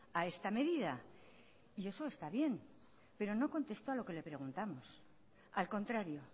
a esta medida y eso está bien pero no contestó a lo que le preguntamos al contrario